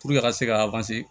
a ka se ka